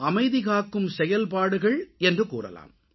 அமைதிகாக்கும் செயல்பாடுகள் என்று கூறலாம்